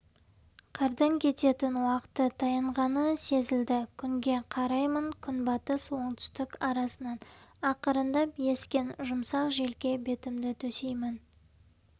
қардың кететін уақыты таянғаны сезілді күнге қараймын күнбатыс оңтүстік арасынан ақырындап ескен жұмсақ желге бетімді төсеймін